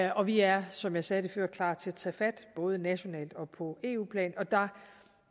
og vi er som jeg sagde det før klar til at tage fat både nationalt og på eu plan jeg